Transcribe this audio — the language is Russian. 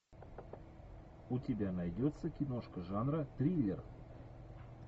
у тебя найдется киношка жанра триллер